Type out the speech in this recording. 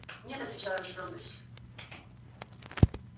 нет отвечал я с твёрдостию